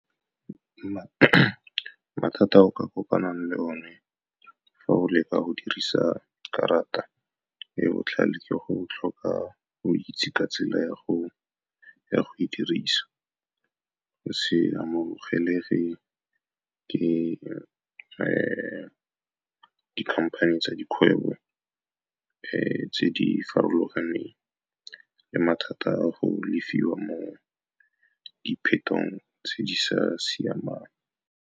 Mathata a o ka kopanang le one fa go leka go dirisa karata e botlhale ke go tlhoka go itse ka tsela ya go e dirisa, go se amogelege ke dikhamphane tsa dikgwebo tse di farologaneng, le mathata a go lefiwa mo diphetong tse di sa siamang.